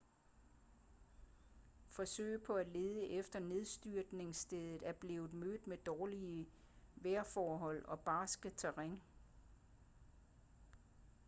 forsøg på at lede efter nedstyrtningsstedet er blevet mødt med dårlige vejrforhold og barskt terræn